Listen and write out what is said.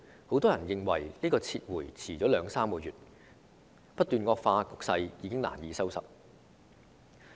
很多人認為政府遲了兩三個月才撤回《條例草案》，令局勢不斷惡化，已經難以收拾。